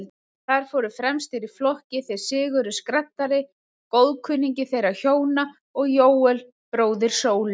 Þar fóru fremstir í flokki þeir Sigurður skraddari, góðkunningi þeirra hjóna, og Jóel, bróðir Sólu.